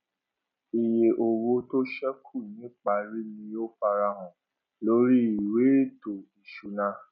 iye owó tó ṣẹkù niparí ni ó farahàn lórí ìwé ètò ìṣúná